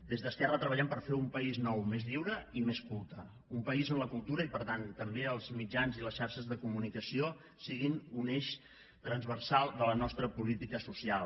des d’esquerra treballem per fer un país nou més lliure i més culte un país on la cultura i per tant també els mitjans i les xarxes de comunicació siguin un eix transversal de la nostra política social